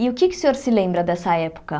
E o que é que o senhor se lembra dessa época?